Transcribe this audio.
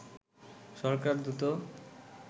সরকার দ্রুত